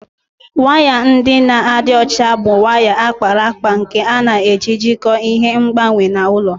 Waya ndị na-adị ọcha bụ waya a kpara akpa nke a na-eji jikọọ ihe ngbanwe na ụlọ